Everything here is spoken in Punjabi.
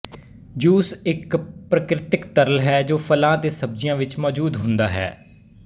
ਜੂਸ ਇੱਕ ਪ੍ਰਕ੍ਰਿਤਕ ਤਰਲ ਹੈ ਜੋ ਫਲਾਂ ਅਤੇ ਸਬਜੀਆਂ ਵਿੱਚ ਮੌਜੂਦ ਹੁੰਦਾ ਹੈ